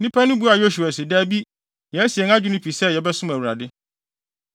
Nnipa no buaa Yosua se, “Dabi, yɛasi yɛn adwene pi sɛ yɛbɛsom Awurade.”